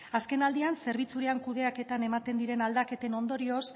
azken aldian zerbitzuaren kudeaketan ematen diren aldaketen ondorioz